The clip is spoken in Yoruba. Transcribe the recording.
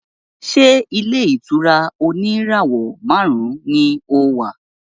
Ṣé ilé-ìtura oníràwọ̀ márùn-ún ni o wà?